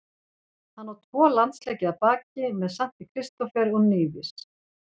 Hann á tvo landsleiki að baki með Sankti Kristófer og Nevis.